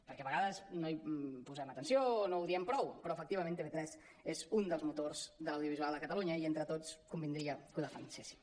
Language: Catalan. perquè a vegades no hi posem atenció o no ho diem prou però efectivament tv3 és un dels motors de l’audiovisual a catalunya i entre tots convindria que ho defenséssim